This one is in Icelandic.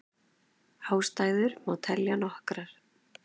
Ástæður má telja nokkrar.